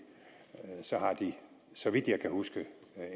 har de så vidt jeg husker